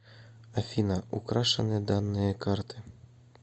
афина украшены данные карты